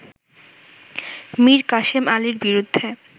মীর কাশেম আলীর বিরুদ্ধে